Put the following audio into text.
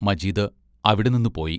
മജീദ് അവിടെ നിന്നു പോയി.